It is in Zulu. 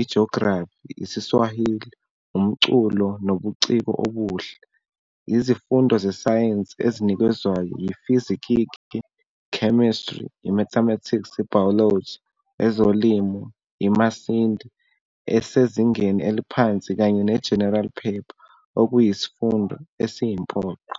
IJografi, IsiSwahili, Umculo Nobuciko Obuhle. Izifundo zeSayensi ezinikezwayo yiFizikiki, iChemistry, iMathematics, iBiology, ezoLimo, iMasidi esezingeni eliphansi kanye neGeneral Paper okuyisifundo esiyimpoqo.